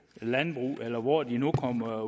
landbrug skat eller hvor de nu kommer